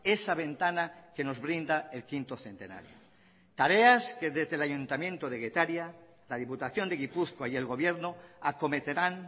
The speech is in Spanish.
esa ventana que nos brinda el quinto centenario tareas que desde el ayuntamiento de getaria la diputación de gipuzkoa y el gobierno acometerán